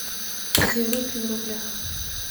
две рупии в рублях